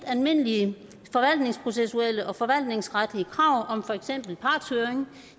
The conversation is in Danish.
almindelige forvaltningsprocessuelle og forvaltningsretlige krav om for eksempel partshøring